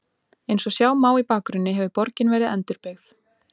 Eins og sjá má í bakgrunni hefur borgin verið endurbyggð.